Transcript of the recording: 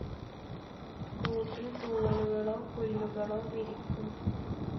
കൂട്ടിൽ തൂവലുകളൊ പുല്ലുകളൊ വിരിക്കും.